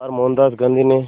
बार मोहनदास गांधी ने